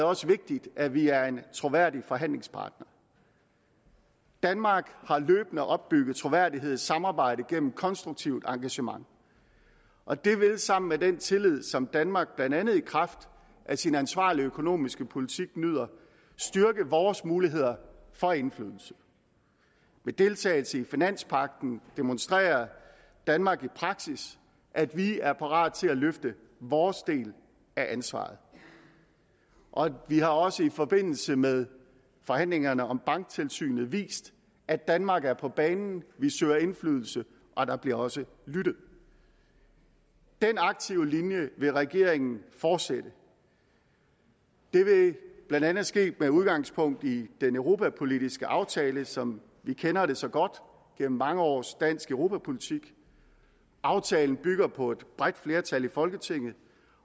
også vigtigt at vi er en troværdig forhandlingspartner danmark har løbende opbygget troværdighed i samarbejdet gennem konstruktivt engagement og det vil sammen med den tillid som danmark blandt andet i kraft af sin ansvarlige økonomiske politik nyder styrke vores muligheder for indflydelse ved deltagelse i finanspagten demonstrerer danmark i praksis at vi er parate til at løfte vores del af ansvaret vi har også i forbindelse med forhandlingerne om banktilsynet vist at danmark er på banen vi søger indflydelse og der bliver også lyttet den aktive linje vil regeringen fortsætte det vil blandt andet ske med udgangspunkt i den europapolitiske aftale som vi kender det så godt gennem mange års dansk europapolitik aftalen bygger på et bredt flertal i folketinget